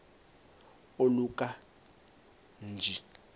oluka ka njl